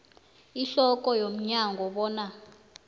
ihloko yomnyango bona